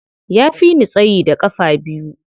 Ya fi ni tsayi da ƙafa biyu.